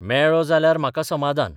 मेळ्ळो जाल्यार म्हाका समादान.